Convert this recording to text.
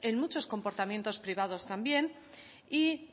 en muchos comportamientos privados también y